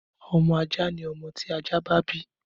Ọmọ ajá ni ọmọ tí ajá bá bí.